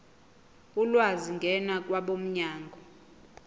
ulwazi ngena kwabomnyango